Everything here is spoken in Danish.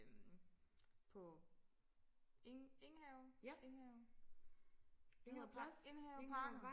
øhm på Eng Enghave Enghave Enghaveparken